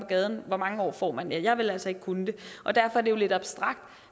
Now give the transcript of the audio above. gaden hvor mange år får man ja jeg ville altså ikke kunne det og derfor er det jo lidt abstrakt